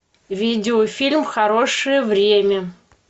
видеофильм хорошее время